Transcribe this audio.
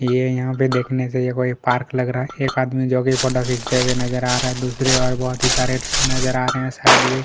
ये यहाँ से देखनें से कोंई पार्क लग रहा है एक आदमी फ़ोटो जोकी खिचते हुए नज़र आ रहा है दूसरी ओर बहुत ही सारे लोग नज़र आ रहे है शायद ये --